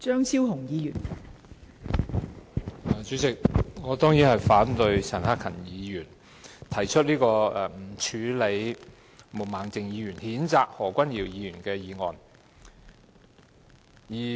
代理主席，我當然反對陳克勤議員提出這項議案，他要求不處理毛孟靜議員所動議譴責何君堯議員的議案。